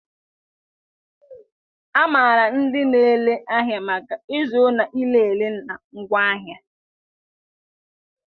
A maara ndị na-ere ahịa maka ịzụrụ na ire ere na ngwaahịa.